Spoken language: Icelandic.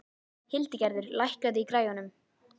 Hildigerður, lækkaðu í græjunum.